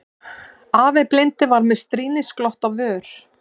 Afi blindi var með stríðnisglott á vör.